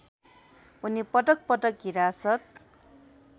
उनी पटकपटक हिरासत